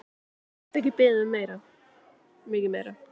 Get ekki beðið um mikið meira!